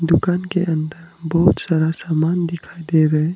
दुकान के अंदर बहुत सारा सामान दिखाई दे रहा है।